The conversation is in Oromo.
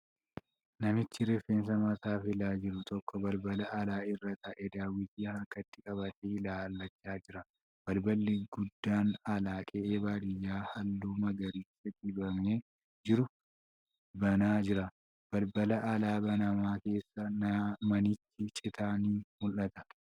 Namichi rifeensa mataa filaa jiru tokko balbala alaa irra taa'ee daawwitii harkatti qabatee ilaallachaa jira. Balballi guddaan alaa qe'ee baadiyyaa halluu magariisa dibamee jiru banaa jira. Balbala alaa banamaa keessaan manni citaa ni mul'ata.